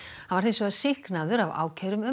hann var hins vegar sýknaður af ákæru um